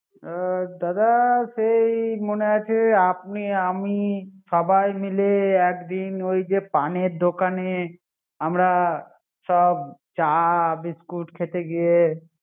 হুম দাদা সেই মনে আছে আপনি আমি সবাই মিলে একদিন ওই যে পানের দোকানে, আমরা সব চা বিস্কুট খেতে গিয়ে